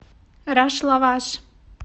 рашлаваш